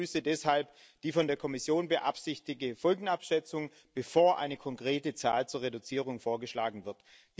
Ich begrüße deshalb die von der Kommission beabsichtigte Folgenabschätzung, bevor eine konkrete Zahl zur Reduzierung vorgeschlagen wird.